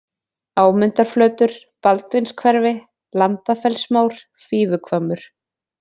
Ámundarflötur, Baldvinshverfi, Lambafellsmór, Fífuhvammur